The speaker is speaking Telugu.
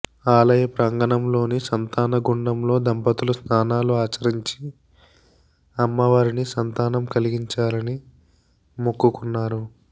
ఆలయ ప్రాంగణలోని సంతాన గుండంలో దంపతులు స్నానాలు ఆచరించి అమ్మవారిని సంతానం కలిగించాలని మొక్కుకున్నారు